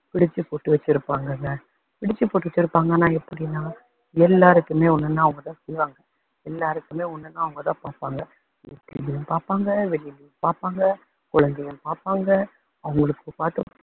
பிடிச்சு போட்டு வச்சுருப்பாங்கல்ல, பிடிச்சு போட்டு வச்சுருப்பாங்கன்னா எப்படின்னா எல்லாருக்குமே ஒண்ணுனா அவங்க தான் செய்வாங்க எல்லாருக்குமே ஒண்ணுனா அவங்க தான் பாப்பாங்க வீட்லயும் பாப்பாங்க வெளியுலேயும் பாப்பாங்க, குழந்தையும் பாப்பாங்க.